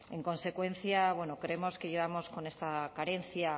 en consecuencia bueno creemos que llevamos con esta carencia